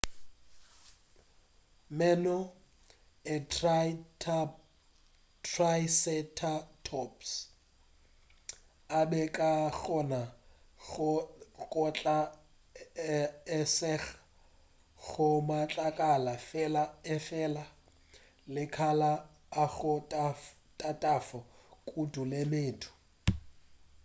meno a triceratops a be a ka kgona go kgatla e seng go matlakala fela efela le makala a go tatafa kudu le medu